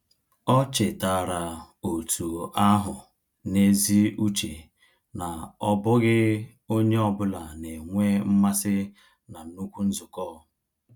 Ọ chetaara otu ahụ n’ezi uche na ọ bụghị onye ọ bụla na-enwe mmasị na nnukwu nzukọ.